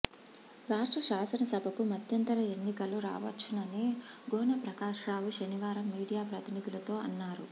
రాష్ట్ర శాననసభకు మధ్యంతర ఎన్నికలు రావచ్చునని గోనె ప్రకాశ రావు శనివారం మీడియా ప్రతినిధులతో అన్నారు